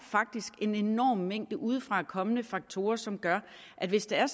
en enorm mængde udefra kommende faktorer som gør at hvis det er